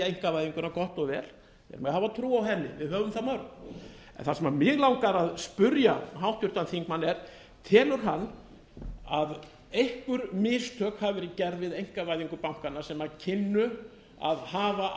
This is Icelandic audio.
einkavæðinguna gott og vel þeir mega hafa trú á henni við höfum það mörg en það sem mig langar að spyrja háttvirtan þingmann er telur hann að einhver mistök hafi verið gerð við einkavæðingu bankanna sem kynnu að hafa